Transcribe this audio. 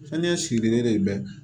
Sani n ka sirilen de bɛ